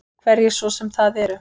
Hverjir svo sem það eru.